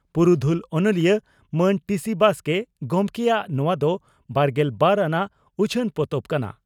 ᱯᱩᱨᱩᱫᱷᱞ ᱚᱱᱚᱞᱤᱭᱟᱹ ᱢᱟᱱ ᱴᱤᱹᱥᱤᱹ ᱵᱟᱥᱠᱮ ᱜᱚᱢᱠᱮᱭᱟᱜ ᱱᱚᱣᱟ ᱫᱚ ᱵᱟᱨᱜᱮᱞ ᱵᱟᱨ ᱟᱱᱟᱜ ᱩᱪᱷᱟᱹᱱ ᱯᱚᱛᱚᱵ ᱠᱟᱱᱟ ᱾